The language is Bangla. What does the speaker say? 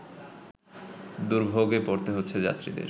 দুর্ভোগে পড়তে হচ্ছে যাত্রীদের